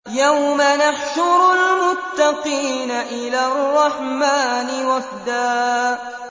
يَوْمَ نَحْشُرُ الْمُتَّقِينَ إِلَى الرَّحْمَٰنِ وَفْدًا